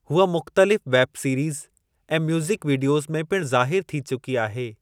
हूअ मुख़्तलिफ़ web series ऐं म्यूज़िक वीडियोज़ में पिणु ज़ाहिरु थी चकी आहे।